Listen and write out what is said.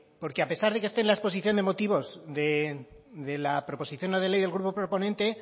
porque a pesar de que esté en la exposición de motivos de la proposición no de ley del grupo proponente